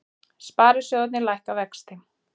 Sparisjóðirnir lækka vexti